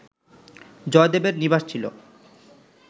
জয়দেবের নিবাস ছিল